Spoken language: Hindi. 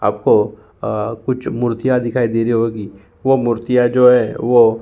आपको अ कुछ मूर्तियां दिखाई दे रही होगी। वह मूर्तियां जो हैं वो --